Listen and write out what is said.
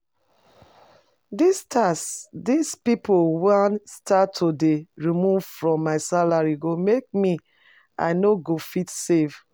Dis tax dis people wan start to dey remove from my salary go make me I no go fit save